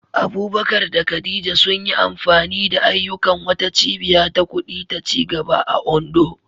Abubakar da Khadija sun yi amfani da ayyukan wata cibiya ta kudi ta ci gaba a Ondo.